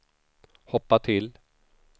hoppa till